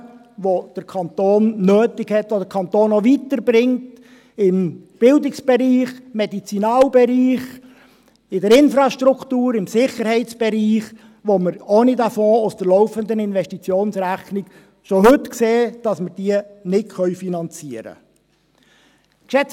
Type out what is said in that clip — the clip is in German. Investitionen, die der Kanton nötig hat, die den Kanton auch weiterbringen im Bildungsbereich, Medizinalbereich, in der Infrastruktur, im Sicherheitsbereich, die wir ohne den Fonds aus der laufenden Investitionsrechnung, wie wir schon heute sehen, nicht finanzieren können.